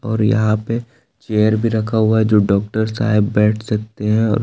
और यहां पे चेयर भी रखा हुआ है जो डॉक्टर साहब बैठ सकते हैं और--